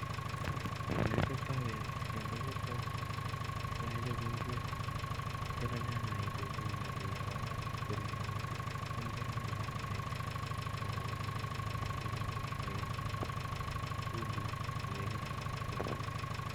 Ele kichoptoi bendo, bendo kechobe kou yon kichobe ng'wek, kitile nyanyek ak kitunguik ak kiyo korok iib koruryo eng maa, tam kerongyin nyanyek ak kerongyi ketunguik ak kegurogur aginde mwaita ,chumbik agegurogur iib koruryo